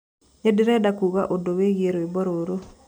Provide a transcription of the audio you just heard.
ninderenda kuuga ũndu wĩĩgĩe rwĩmbo rũrũ